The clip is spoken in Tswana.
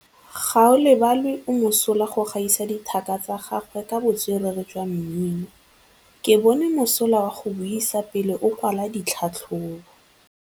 Gaolebalwe o mosola go gaisa dithaka tsa gagwe ka botswerere jwa mmino. Ke bone mosola wa go buisa pele o kwala tlhatlhobô.